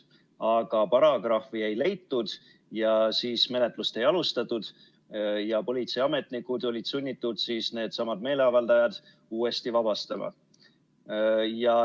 Aga paragrahvi ei leitud ja menetlust ei alustatud ja politseiametnikud olid sunnitud needsamad meeleavaldajad uuesti vabastama.